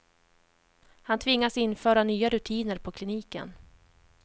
Han tvingas införa nya rutiner på kliniken.